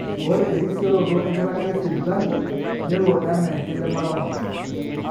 ore erisioroto enkiragata esipitali nelo enaa enkidimata oltung'ani